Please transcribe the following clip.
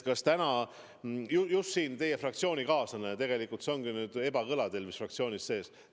Täna just teie fraktsioonikaaslane ütles, et Eestit ei tohi lukku keerata.